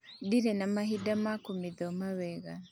Ndire na mahinda ma kũmĩthoma wega